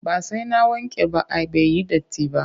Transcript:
Ba sai na wanke ba ai bai yi datti ba